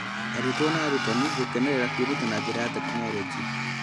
Arutwo na arutani gũkenera kwĩruta na njĩra ya tekinoronjĩ.